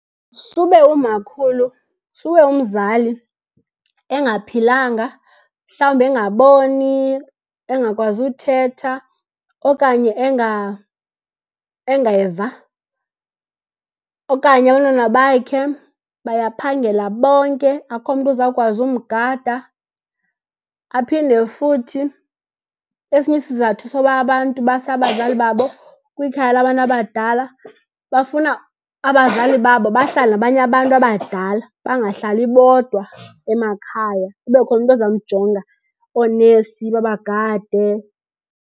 Sube umakhulu, sube umzali engaphilanga. Mhlawumbi engaboni, engakwazi uthetha okanye engeva, okanye abantwana bakhe bayaphangela bonke akho mntu uzawukwazi umgada. Aphinde futhi esinye isizathu soba abantu base abazali babo kwikhaya labantu abadala, bafuna abazali babo bahlale nabanye abantu abadala bangahlali bodwa emakhaya. Kube khona umntu ozamjonga, oonesi babagade.